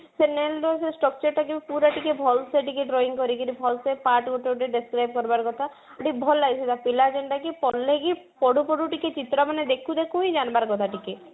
ସେ nail ର ଯୋଉ structure ଟା ଯୋଉ ପୁରା ଟିକେ ଭଲସେ ଟିକେ drawing କରିକିରି ଭଲସେ part ଗୋଟେ ଗୋଟେ describe କରିବାର କଥା ଭଲ ଲାଗେ ସେଇଟା ପିଲା ଯେନ୍ତା କି ଭଲେ କି ପଢୁ ପଢୁ ଟିକେ ଚିତ୍ର ମାନେ ଦେଖୁ ଦେଖୁ ହିଁ ଜାଣିବାର କଥା ଟିକେ